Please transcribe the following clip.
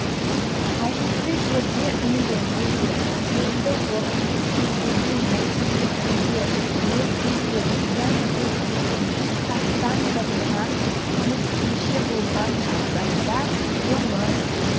қажетті жерде үндемеу де тиімді орынсыз сөйлеуден нәтижесінде өзгеге зиян келтіруден сақтандырған керісінше болған жағдайда соңы